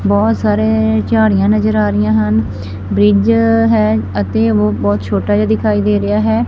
ਬਹੁਤ ਸਾਰੇ ਝਾੜੀਆਂ ਨਜ਼ਰ ਆ ਰਹੀਆਂ ਹਨ ਬ੍ਰਿਜ ਹੈ ਅਤੇ ਉਹ ਬਹੁਤ ਛੋਟਾ ਜਿਹਾ ਦਿਖਾਈ ਦੇ ਰਿਹਾ ਹੈ।